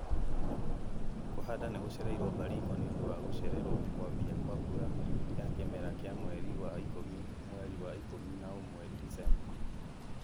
Kũhanda nĩgũcereirwo Baringo nĩũndũ wa gũcererwo kwambia kwa mbura ya kimera kĩa mweri wa ikũmi-mweri wa ikũmi na ũmwe-Disemba